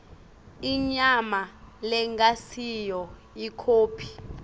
inyama lengasiyo ikhophi